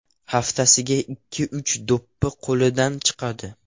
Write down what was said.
Haftasiga ikki-uch do‘ppi qo‘lidan chiqadi.